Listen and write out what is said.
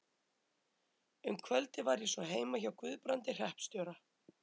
Um kvöldið var ég svo heima hjá Guðbrandi hreppstjóra.